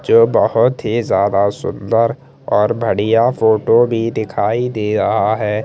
जो बहत ही ज्यादा सुन्दर और बड़िया फोटो भी दिखाई दे रहा है।